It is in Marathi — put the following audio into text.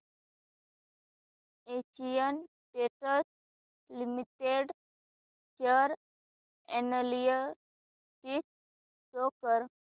Asian Paints Limited share analysis show कर